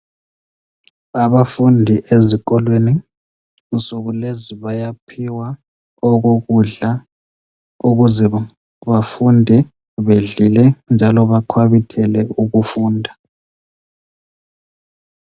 Abafundi ezikolweni nsuku lezi bayaphiwa okokudla ukuze bafunde bedlile njalo bakhwabithele ukufunda.